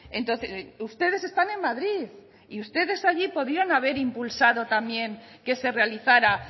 entonces ustedes están en madrid y ustedes allí podían haber impulsado también que se realizara